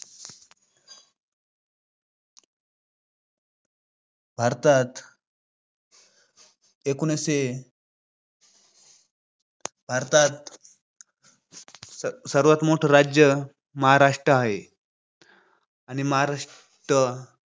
भारतात एकोणीशे भारतात स~सर्वात मोठ राज्य महाराष्ट्र हाय आणि महाराष्ट्र